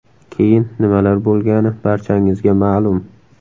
Keyin nimalar bo‘lgani barchangizga ma’lum.